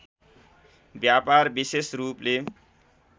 व्यापार विशेष रूपले